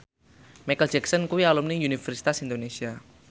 Micheal Jackson kuwi alumni Universitas Indonesia